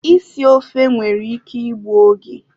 Isi ofe nwere ike igbu oge